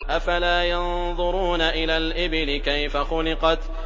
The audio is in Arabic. أَفَلَا يَنظُرُونَ إِلَى الْإِبِلِ كَيْفَ خُلِقَتْ